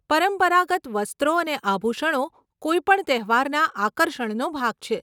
પરંપરાગત વસ્ત્રો અને આભૂષણો કોઈપણ તહેવારના આકર્ષણનો ભાગ છે.